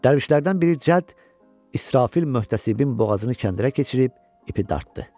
Dərvişlərdən biri Cədd İsrafil möhtəsibin boğazını kəndirə keçirib ipi dartdı.